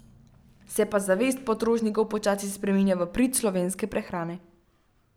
Se pa zavest potrošnikov počasi spreminja v prid slovenske prehrane.